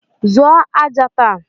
Zụọ aja taa!